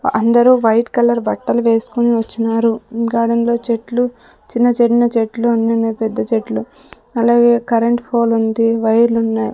అందరూ white colour బట్టలు వేస్కొని వచ్చినారు గార్డెన్ లో చెట్లు చిన్న చిన్న చెట్లు అన్నున్నాయ్ పెద్ద చెట్లు అలాగే కరెంటు ఫోల్ ఉంది వైర్లున్నాయ్.